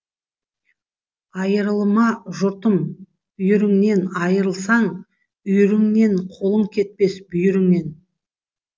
айырылма жұртым үйіріңнен айырылсаң үйіріңнен қолың кетпес бүйіріңнен